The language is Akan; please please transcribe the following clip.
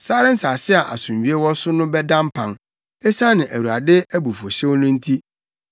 Sare nsase a asomdwoe wɔ so no bɛda mpan esiane Awurade abufuwhyew no nti.